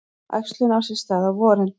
Æxlun á sér stað á vorin.